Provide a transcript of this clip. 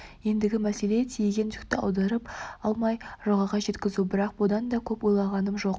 ендігі мәселе тиеген жүкті аударып алмай жағаға жеткізу бірақ бұған да көп ойланғаным жоқ